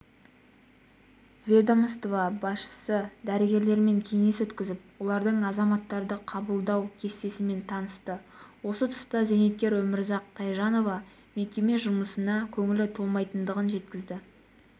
ведмоство басшысы дәрігерлермен кеңес өткізіп олардың азаматтарды қабылдау кестесімен танысты осы тұста зейнеткер өмірзақ тайжанова мекеме жұмысына көңілі толмайтындығын жеткізді